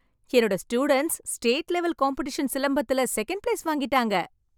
என்னோட students state level competition சிலம்பத்துல second place வாங்கிட்டாங்க.